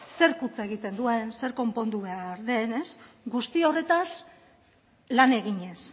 zerk huts egiten duen zer konpondu behar den guzti horretaz lan eginez